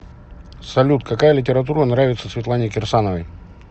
салют какая литература нравится светлане кирсановой